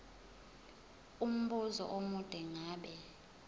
umbuzo omude ngabe